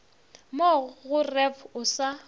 mo go ref o sa